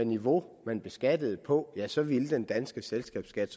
niveau man beskatter på ja så ville den danske selskabsskat